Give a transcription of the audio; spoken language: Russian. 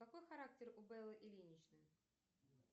какой характер у беллы ильиничны